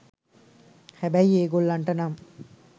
හැබැයි ඒ ගොල්ලන්ට නම්